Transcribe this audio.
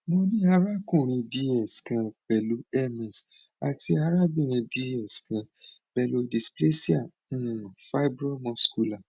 mo ni arakunrin dx kan pẹlu ms ati arabinrin dx kan pẹlu displasia um fibromuscular